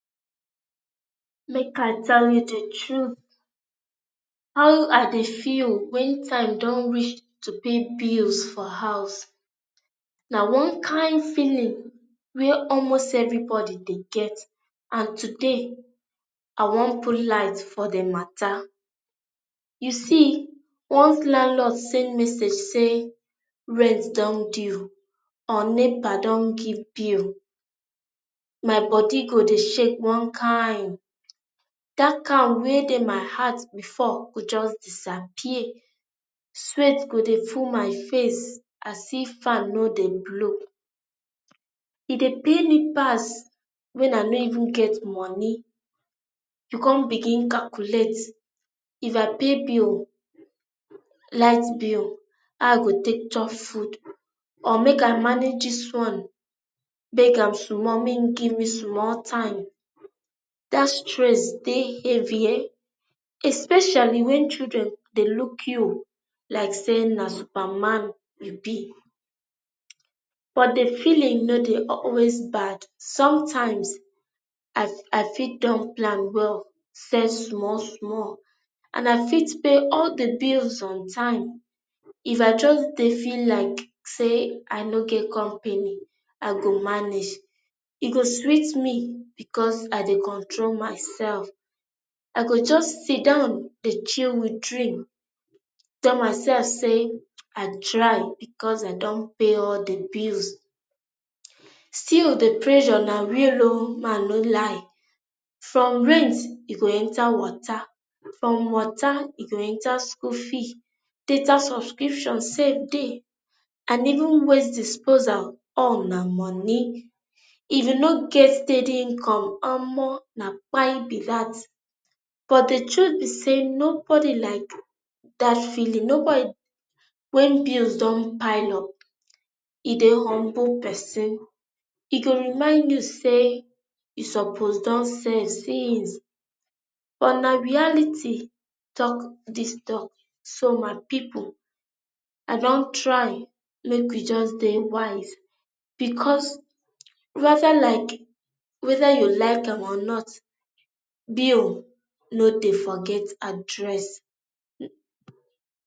Make i tell you the truth how i dey feel when time time dun reach to pay bills for house. na one kain feeling wey almost everybody dey get and today, i wan out light for the matter. You see, once landlord send message say rent dun due or nepa dun give bill, my body go dey shake one kain, that calm wey dey my heart before go just disappear. Sweat go dey full my face as if fan no dey blow. e dey pain me pass when i no even get money, you con begin calculate, if i pay bill light bill how i go take chop food, or make i manage this one, beg am small make e give me small time, that stress dey heavy ehen, especially when children dey look you like say na superman you be but the feeling no dey always bad. sometimes, i fii i fit dun plan well, save small small and i fit pay all the bills on time if i just dey feel like say i no get company i go manage. e go sweet me because i dey control myself. i go just sidan dey chill with, tell myself say i try because dem dun pay all the bills. still the pressure na real oo, make i no lie. from rent e go enter water from water e go enter school fee, data subscription sttill dey and even waste disposal all na money. if you no get steady income, omo na kpai be that, but the truth be say nobody like that feeling, nobody wey bills dun pile up. e dey humble person e go remind you say you suppose dun save since but na reality talk this talk so my people, i dun try make we just dey wise because whether like whether you like am or not, bill no dey forget address.